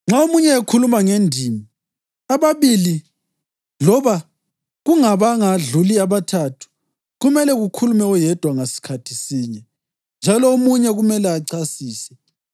Nxa omunye ekhuluma ngendimi, ababili loba kungabangadluli abathathu, kumele kukhulume oyedwa ngasikhathi sinye, njalo omunye kumele achasise.